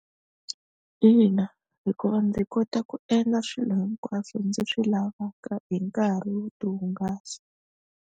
Ina hikuva ndzi kota ku endla swilo hinkwaswo ndzi swi lavaka hi nkarhi wo tihungasa.